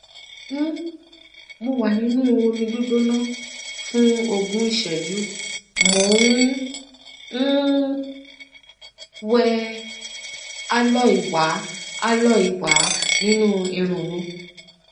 um mo wà nínú omi gbígbóná fún ogún ìṣẹjú mo ń um wẹ aloe wà aloe wà nínú irun mi